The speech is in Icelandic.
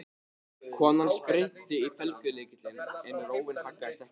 Konan spyrnti í felgulykilinn en róin haggaðist ekki.